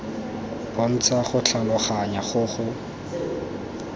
bontsha go tlhaloganya go go